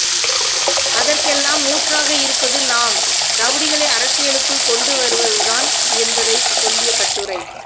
அதற்கெல்லாம் ஊற்றாக இருப்பது நாம் ரவுடிகளை அரசியலுக்குள் கொண்டுவருவதுதான் என்பதை சொல்லிய கட்டுரை